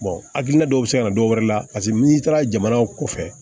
hakilina dɔw bɛ se ka na dɔwɛrɛ la paseke n'i taara jamana kɔfɛ